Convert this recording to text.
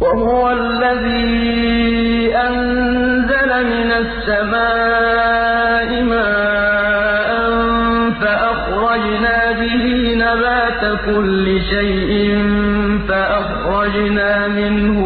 وَهُوَ الَّذِي أَنزَلَ مِنَ السَّمَاءِ مَاءً فَأَخْرَجْنَا بِهِ نَبَاتَ كُلِّ شَيْءٍ فَأَخْرَجْنَا مِنْهُ